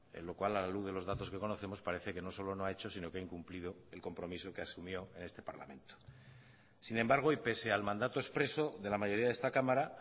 en lo cual a la luz de los datos que conocemos parece que no solo no ha hecho sino que ha incumplido el compromiso que asumió en este parlamento sin embargo y pese al mandato expreso de la mayoría de esta cámara